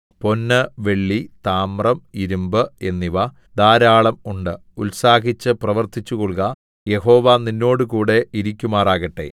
പൊന്ന് വെള്ളി താമ്രം ഇരിമ്പ് എന്നിവ ധാരാളം ഉണ്ട് ഉത്സാഹിച്ചു പ്രവർത്തിച്ചുകൊൾക യഹോവ നിന്നോടുകൂടെ ഇരിക്കുമാറാകട്ടെ